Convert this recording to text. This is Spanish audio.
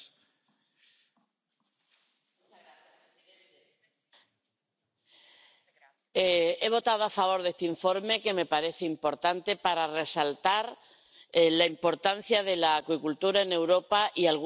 Señor presidente, he votado a favor de este informe, que me parece importante para resaltar la importancia de la acuicultura en Europa y alguno de los problemas que tiene actualmente.